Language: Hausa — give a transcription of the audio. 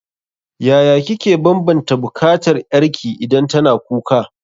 Yaya kike banbanta bukatar ƴarki idan tana kuka?